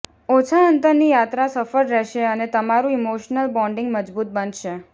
ઓછા અંતરની યાત્રા સફળ રહેશે અને તમારું ઈમોશનલ બોન્ડિંગ મજબૂત બનશે